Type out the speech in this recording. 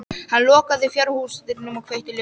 Hann lokaði fjárhúsdyrunum og kveikti ljós.